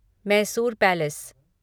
Mysore palace